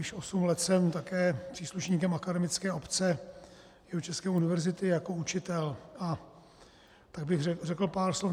Již osm let jsem také příslušníkem akademické obce Jihočeské univerzity jako učitel, a tak bych řekl pár slov.